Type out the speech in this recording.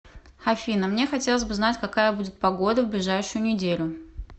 афина мне хотелось бы знать какая будет погода в ближайшую неделю